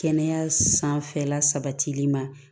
Kɛnɛya sanfɛla sabatili ma